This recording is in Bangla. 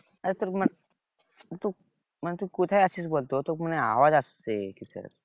আরে তোর মানে মানে তুই কোথায় আছিস বল তো তোকে মানে আওয়াজ আসছে কিসের